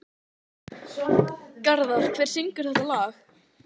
Garðar, hver syngur þetta lag?